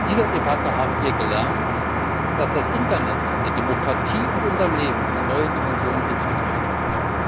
In dieser Debatte haben wir gelernt, dass das Internet der Demokratie und unserem Leben eine neue Dimension hinzugefügt hat.